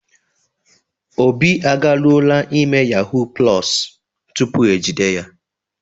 Obi agaruoola ime yahuu + tupu e jide ya.